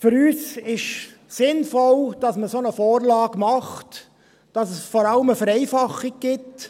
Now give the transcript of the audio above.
Für uns ist es sinnvoll, dass man eine solche Vorlage macht, dass es vor allem eine Vereinfachung gibt.